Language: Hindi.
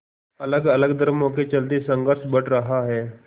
अलगअलग धर्मों के चलते संघर्ष बढ़ रहा है